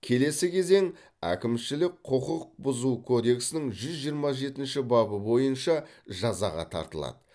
келесі кезең әкімшілік құқық бұзу кодексінің жүз жиырма жетінші бабы бойынша жазаға тартылады